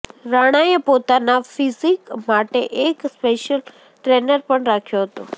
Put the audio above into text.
રાણાએ પોતાના ફિઝીક માટે એક સ્પેશ્યિલ ટ્રેનર પણ રાખ્યો હતો